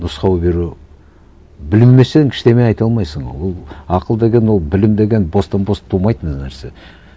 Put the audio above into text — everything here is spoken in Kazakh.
нұсқау беру білмесең ештеңе айта алмайсың ол ақыл деген ол білім деген бостан бос тумайтын нәрсе